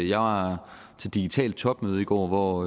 jeg var til digitalt topmøde i går hvor